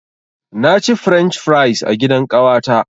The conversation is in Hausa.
Na ci french fries a gidan ƙawata.